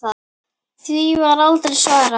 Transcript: Því var aldrei svarað.